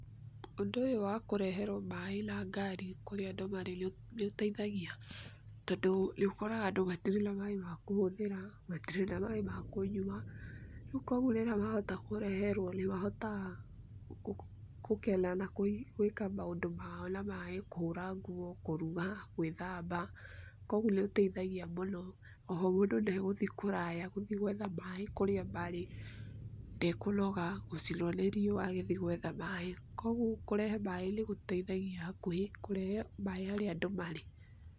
Ũndũ ũyũ wa kũreherwo maaĩ na ngari kũrĩa andũ marĩ nĩ ũteithagia, tondũ nĩ ũkoraga andũ matirĩ na maaĩ ma kũhũthĩra, matirĩ na maaĩ ma kũnyua, rĩu kũoguo rĩrĩa mahota kũreherwo, nĩ mahotaga kũkena na gwĩka maũndũ mao na maaĩ, kũhũra nguo, kũruga, gwĩthamba. Kũoguo nĩ gũteithagia mũno. O ho mũndũ nĩegũthi kũraya, gũthiĩ gũetha maaĩ kũrĩa marĩ. Ndekũnoga, gũcinwo nĩ riũa agĩthiĩ gũetha maaĩ. Kũogwo kũrehe maaĩ nĩ gũteithagia hakuhi, kũrehe maaĩ harĩa andũ marĩ.